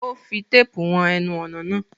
O fi tape won enun ònà lánàá